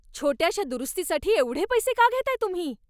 छोट्याशा दुरुस्तीसाठी एवढे पैसे का घेताय तुम्ही?